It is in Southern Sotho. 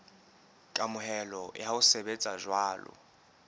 kamohelo ya ho sebetsa jwalo